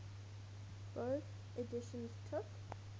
bofh editions took